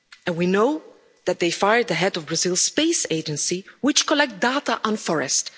We know that they fired the head of Brazil's space agency, which collects data on forests.